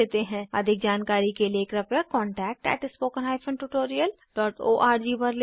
अधिक जानकारी के लिए कृपया contact at spoken hyphen tutorial dot org पर लिखें